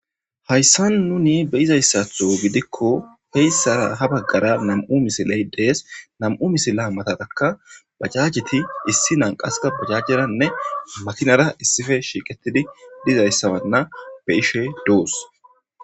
hayssan nuni be'izayssatho gidikko heyssara ha baggara nam'u misiley dees nam'u misila matataka bajajiti issinan qaska bajajjeranne makinara issife shiiqetidi dizayssabanna be'ishe doos